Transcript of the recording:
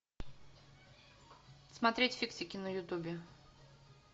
смотреть фиксики на ютубе